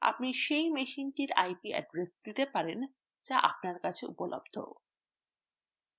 আপনি সেই মেশিনটির ip address দিতে পারেন যেটি আপনার কাছে উপলব্ধ